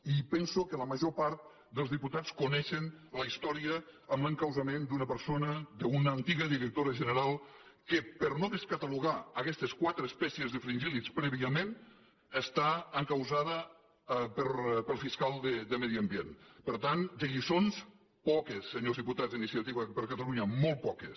i penso que la major part dels diputats coneixen la història amb l’encausament d’una persona d’una antiga directora general que per no descatalogar aquestes quatre espècies de fringíllids prèviament està encausada pel fiscal de medi ambient per tant de lliçons poques senyors diputats d’iniciativa per catalunya molt poques